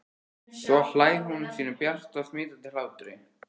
Svo hlær hún sínum bjarta og smitandi hlátri.